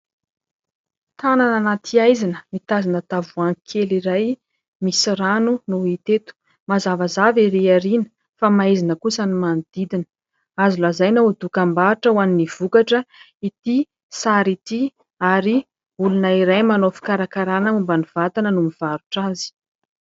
Tanana anaty haizina, mitazona tavoangy kely iray misy rano no hita eto. Mazavazava ery arina fa maizina kosa ny manodidina. Azo lazaina ho dokam-barotra ho an'ny vokatra, ity sary ity ary, olona iray manao fikarakarana momba ny vatana no mivarotra azy.